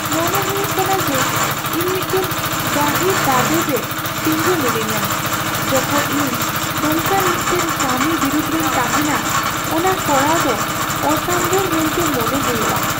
ᱢᱚᱱᱮ ᱦᱩᱭᱩᱜ ᱠᱟᱱᱟ ᱡᱮ ᱤᱧ ᱢᱤᱫᱴᱟᱝ ᱜᱟᱹᱦᱤᱨ ᱫᱟᱸᱫᱮᱨ ᱨᱮ ᱛᱤᱸᱜᱩ ᱢᱤᱱᱟᱹᱧᱟ ᱡᱚᱠᱷᱚᱡ ᱤᱧ ᱱᱚᱝᱠᱟᱱ ᱢᱤᱫᱴᱟᱝ ᱠᱟᱹᱢᱤ ᱵᱤᱨᱩᱫᱷ ᱨᱮᱧ ᱛᱟᱦᱮᱱᱟ ᱚᱱᱟ ᱠᱚᱨᱟᱣ ᱫᱚ ᱚᱥᱟᱢᱵᱷᱮᱲ ᱢᱮᱱᱛᱮ ᱢᱚᱱᱮ ᱦᱩᱭᱩᱜᱼᱟ ᱾